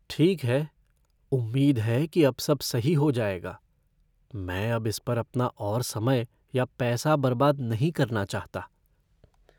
ठीक है, उम्मीद है कि अब सब सही हो जाएगा। मैं अब इस पर अपना और समय या पैसा बर्बाद नहीं करना चाहता।